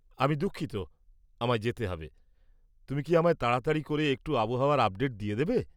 আমি দুঃখিত, আমায় যেতে হবে। তুমি কি আমায় তাড়াতাড়ি করে একটু আবহাওয়ার আপডেট দিয়ে দেবে?